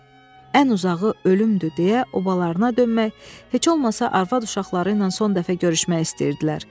Ən uzağı ölümdür deyə obalarına dönmək, heç olmasa arvad-uşaqları ilə son dəfə görüşmək istəyirdilər.